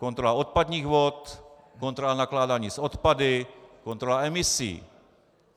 Kontrola odpadních vod, kontrola nakládání s odpady, kontrola emisí.